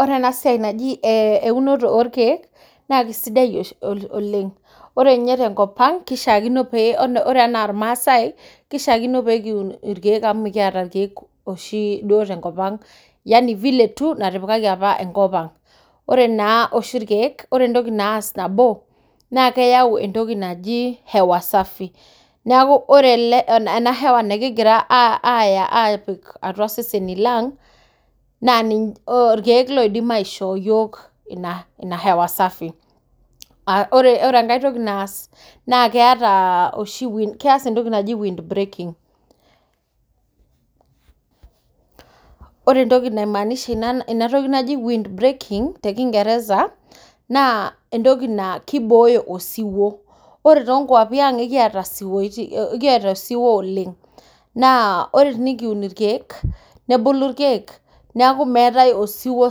Ore ena siai najii eunoto orkeek naa kisidai oleng ore ninye tenkop kishakino enaa irmaasai kishakino pee kiun irkeek tenkop yaani vile tu natipikaki apa enkop Ang ore oshi entoki nabo naas irkeek naa keas entoki naaji hewa safi neeku ore ena hewa nikiya apik eseseni lang naa irkeek loidimu aishoo iyiok hewa safi ore enkae toki naas naa keas ntoki naaji wind breaking ore entoki nasimamisha wind breaking tee kingereza naa entoki naa kibooyo osiwuo ore too nkwapii ang ekiata osiwuo naa ore tenikiun irkeek nebulu irkeek neeku meetae osiwuo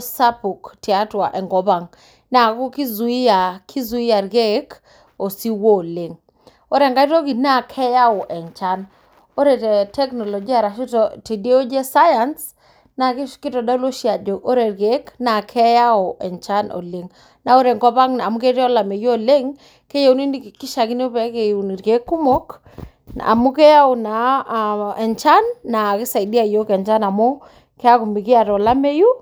sapuk tiatua enkop Ang neeku kizuia irkeek ore enkae toki naa keyawu enchan ore tee tekinolojia naa kitodolu Ajo ore irkeek naa keyawu enchan oleng naa ore enkop Ang amu ketii olamei oleng kishakino nikiun irkeek kumok amu keyau naa enchan naa kisaidia iyiok enchan amuu keeku mikiata olameyu